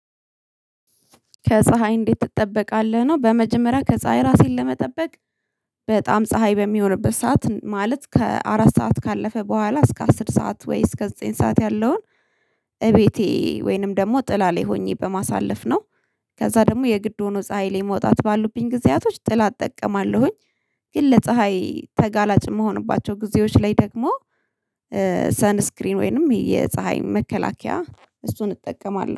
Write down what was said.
ከፀሀይ እንዴት ትጠበቃለህ? ነው በመጀመሪያ ከፀሀይ ራሴን ለመጠበቅ በጣም ፀሀይ በሚሆንበት ሰዓት ማለት ከአራት ሰዓት ካለፈ በኋላ እስከ አስር ሰዓት ወይ እስከ ዘጠኝ ሰዓት ያለውን እቤቴ ወይንም ደግሞ ጥላ ላይ ሆኜ በማሳለፍ ነው። ከዛ ደግሞ የግድ ሆኖ ፀሀይ ላይ መውጣት ባሉብኝ ጊዜያቶች ጥላ እጠቀማለሁኝ ግን ለፀሀይ ተጋላጭ የምሆንባቸው ጊዜዎች ላይ ደግሞ ሰንስክሪን ወይንም የፀሀይ መከላከያ እሱን እጠቀማለሁ።